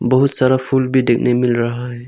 बहुत सारा फूल भी देखने मिल रहा है।